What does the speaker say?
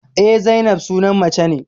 Eh, Zainab sunan mace ne